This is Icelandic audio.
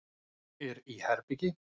Er í herbergi.